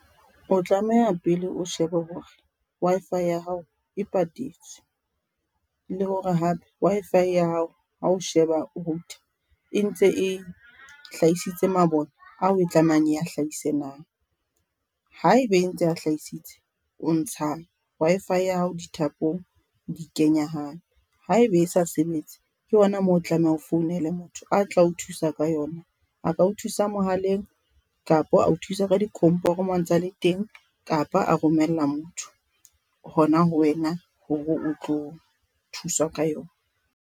O tlameha pele o shebe hore Wi-Fi ya hao e patetswe, le hore hape Wi-Fi ya hao ha o sheba router e ntse e hlahisitse mabone ao e tlamehang e a hlahise na, haebe e ntse e a hlahisitse o ntsha Wi-Fi ya hao dithapong di kenya hape haebe e sa sebetse. Ke hona moo o tlameha ho founele motho a tla o thusa ka yona, a ka o thusa mohaleng kapo a o thuse ka di komporo moo a ntsale teng kapa a romella motho hona ho wena hore o tlo thuswa ka yona.